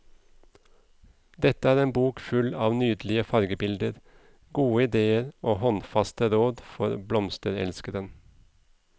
Dette er en bok full av nydelige fargebilder, gode ideer og håndfaste råd for blomsterelskeren.